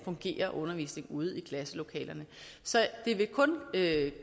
fungerer ude i klasselokalerne så det vil kun